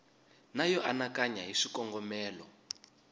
na yo anakanya hi swikongomelo